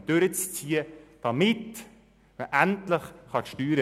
Nichteintreten ist dringend notwendig.